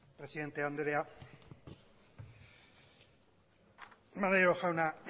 presidente andrea maneiro jauna